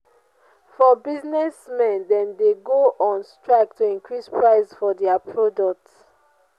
for business men dem de go on strike to increase price for their product